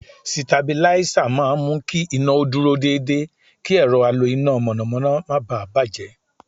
Sitabiláísà máa mú kí iná o dúró dédé kí ẹ̀rọ alo iná mọ̀nàmọ́ná má bà á bàjẹ́.